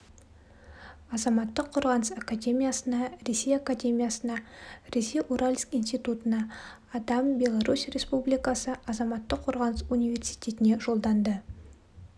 азаматтық қорғаныс академиясына ресей академиясына ресей уральск институтына адам беларусь республикасы азаматтық қорғаныс университетіне жолданды